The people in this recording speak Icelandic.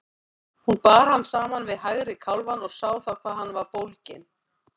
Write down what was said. Hún bar hann saman við hægri kálfann og sá þá hvað hann var bólginn.